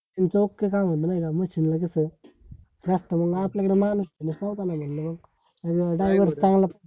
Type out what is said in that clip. तुमच okay काम आहे नाय का? machine ला कस जास्त म्हणून आपल्याकडे माणूस नावो का मानला मग driver चांगला